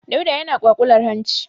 Dauda ya kwaƙular hanci.